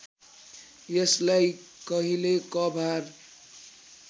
यसलाई कहिले कभार